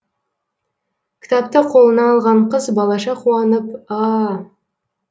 кітапты қолына алған қыз балаша қуанып аа